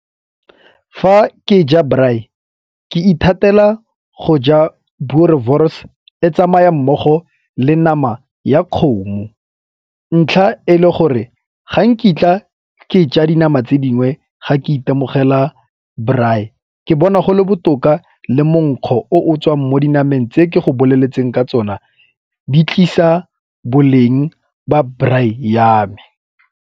Fa ke ja braai ke ithatela go ja Boerewors e tsamaya mmogo le nama ya kgomo, ntlha e le gore ga nkitla ke ja di nama tse dingwe ga ke itemogela braai. Ke bona go le botoka le monkgo o o tswang mo dinameng tse ke go boleletseng ka tsona di tlisa boleng ba braai ya me.